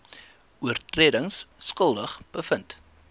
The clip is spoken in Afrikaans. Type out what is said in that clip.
oortredings skuldig bevind